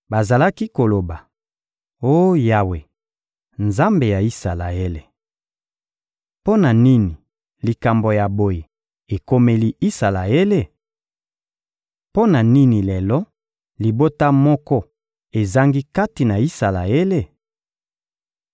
Bazalaki koloba: «Oh Yawe, Nzambe ya Isalaele! Mpo na nini likambo ya boye ekomeli Isalaele? Mpo na nini lelo, libota moko ezangi kati na Isalaele?»